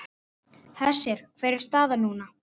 Hersir, hver er staðan núna?